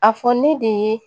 A fɔ ne de ye